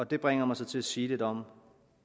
det bringer mig så til at sige lidt om